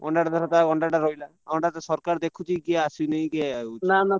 ଅଣ୍ଡା ଟା ରହିଲା ଅଣ୍ଡା ତ ସରକାର ଦେଖୁଛି କିଏ ଆସୁନି କି ଆସୁଛି ।